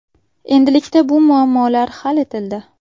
Endilikda bu muammolar hal etildi.